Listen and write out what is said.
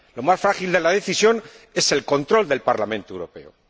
Lo más frágil de la Decisión es el control del Parlamento Europeo.